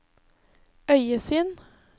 øyesyn